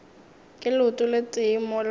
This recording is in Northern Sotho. ka leoto le tee mola